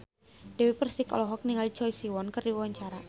Dewi Persik olohok ningali Choi Siwon keur diwawancara